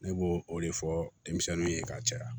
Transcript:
Ne b'o o de fɔ denmisɛnninw ye ka caya